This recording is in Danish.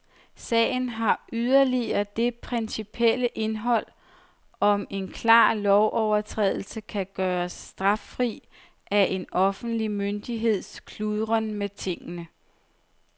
Sagen har yderligere det principielle indhold, om en klar lovovertrædelse kan gøres straffri af en offentlig myndigheds kludren med tingene.